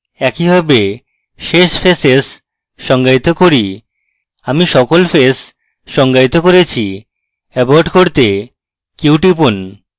একইভাবে শেষ faces সংজ্ঞায়িত করি আমি সকল ফেস সংজ্ঞায়িত করেছি abort করতে q টিপুন